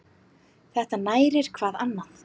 Þetta nærir hvað annað.